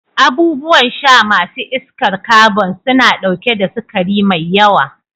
Abubuwan sha ma su iskar kabon suna ɗauke da sukari mai yawa.